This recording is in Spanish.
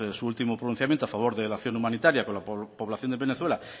su último pronunciamiento a favor de la acción humanitaria con la población de venezuela